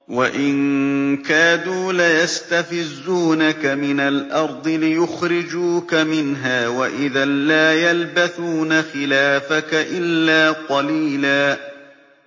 وَإِن كَادُوا لَيَسْتَفِزُّونَكَ مِنَ الْأَرْضِ لِيُخْرِجُوكَ مِنْهَا ۖ وَإِذًا لَّا يَلْبَثُونَ خِلَافَكَ إِلَّا قَلِيلًا